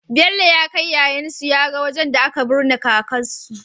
Bello kai yayan su yaga wajan da aka bunne kakar su